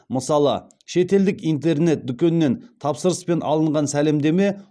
мысалы шетелдік интернет дүкеннен тапсырыспен алынған сәлемдеме